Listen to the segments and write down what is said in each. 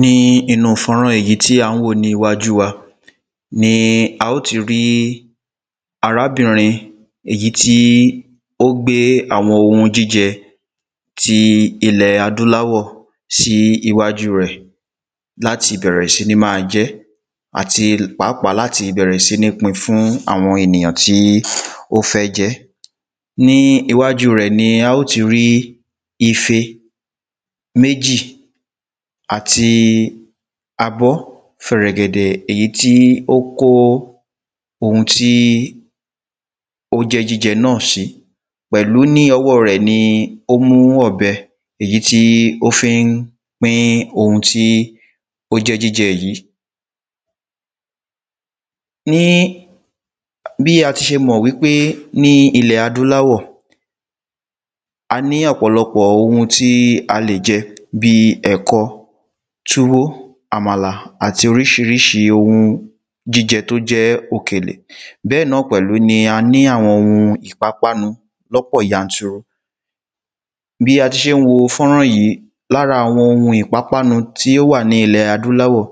ní inú fọ́nrán yìí èyí tí à ń wò ní iwájú wa ní a ó ti rí arábìnrin èyí tí ó gbé àwọn ohun jíje ti ilẹ̀ adúláwọ̀ sí iwájú rẹ̀ láti bẹ̀rẹ̀ sí ní máa jẹ́ àti pápá láti bẹ̀rẹ̀ sí ní pin fún àwọn ènìyàn tí ó fẹ́ jẹ́ ní iwájú rẹ̀ ni a ó ti rí ife méjì àti abọ́ fẹrẹgẹdẹ èyí ti ó kó oun tí ó jẹ́ jíjẹ́ náà ṣi pẹ̀lú ní ọwọ́ rẹ̀ ni ó mú ọ̀bẹ èyí ti ó fí ń pín ohun tí ó jẹ́ jíjẹ́ yìí ní bí ati ṣe mọ̀ wí pé ní ilẹ̀ adúláwọ̀ a ní ọ̀pọ̀lọpọ̀ ohun tí a lè jẹ bíi ẹ̀kọ túwó àmàlà àti oríṣiríṣi ohun jíjẹ tó jẹ́ òkèlè bẹ́ẹ̀ náà pẹ̀lú ni a ní àwọn ohun ìpápánu lọ́pọ̀ yanturu bí a ti ṣé n wo fọ́nrán yìí lára àwọn ohun ìpápánu tí ó wà ní ilẹ̀ adúláwọ̀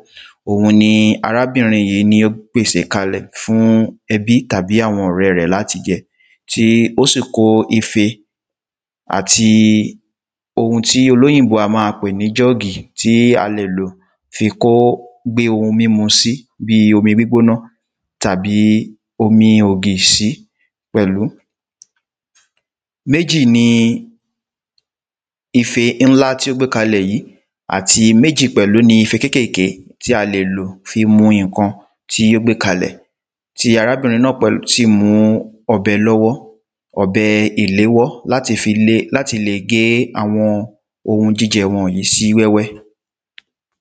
òun ní arábìnrin yìí ní ó pèsè kálẹ̀ fún ebí tàbí àwọn ọ̀rẹ́ rẹ̀ làti jẹ tí ó sì kó ife àti ohun tí olóyìnbó á ma pè ní jọ́ọ̀gì tí a lè lò fi kó gbé ohun mímu sí bí omi gbígbóná tàbí omi ògì sí pẹ̀lú méjì ni ife ńlá tí ó gbé kalẹ̀ yìí àti méjì pẹ̀lú ni ife kékèké tí a lè lò fí mu iǹkan tí ó gbé kalẹ̀ ti arábìnrin náà pẹ̀lú sì mú ọ̀bẹ lọ́wọ́ ọ̀bẹ ìléwọ́ láti lè gé àwọn ohun jíjẹ wọ̀nyí sí wẹ́wẹ́